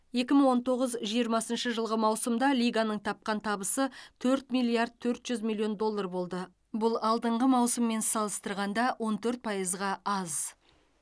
екі мың он тоғыз жиырмасыншы жылғы маусымда лиганың тапқан табысы төрт миллиард төрт жүз миллион доллар болды бұл алдыңғы маусыммен салыстырғанда он төрт пайызға аз